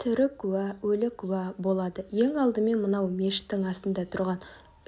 тірі куә өлі куә болады ең алдымен мынау мешіттің астында тұрған